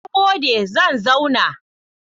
Na gode, zan zauna.